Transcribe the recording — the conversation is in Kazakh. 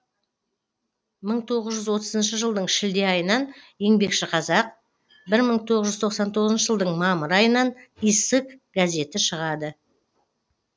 мың тоғыз жүз отызыншы жылдың шілде айынан еңбекші қазақ бір мың тоғыз жүз тоқсан тоғызыншы жылдың мамыр айынан иссык газеті шығады